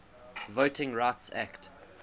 voting rights act